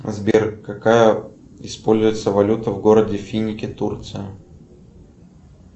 сбер какая используется валюта в городе финики турция